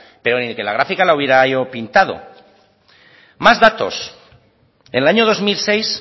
pero ni que la gráfica hubiera yo pintado más datos en el año dos mil seis